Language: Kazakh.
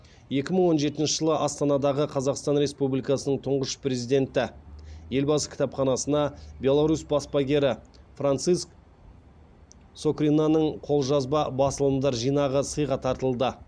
екі мың он жетінші жылы астанадағы қазақстан республикасының тұңғыш президенті елбасы кітапханасына беларусь баспагері франциск скоринаның қолжазба басылымдар жинағы сыйға тартылды